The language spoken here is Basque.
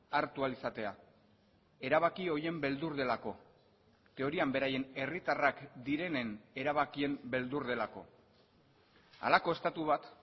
hartu ahal izatea erabaki horien beldur delako teorian beraien herritarrak direnen erabakien beldur delako halako estatu bat